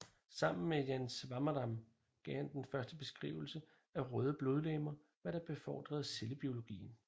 Sammen med Jan Swammerdam gav han den første beskrivelse af røde blodlegemer hvad der befordrede cellebiologien